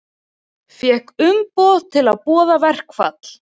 Fékk umboð til að boða verkfall